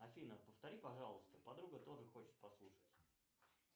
афина повтори пожалуйста подруга тоже хочет послушать